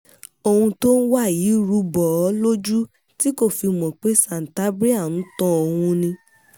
ohun tó ń wá yìí ru bò ó lójú tí kò fi mọ̀ pé santabria ń tan òun ni